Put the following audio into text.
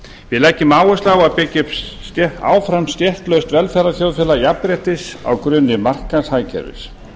við leggjum áherslu á að byggja upp áfram stéttlaust velferðarþjóðfélag jafnréttis á grunni markaðshagkerfis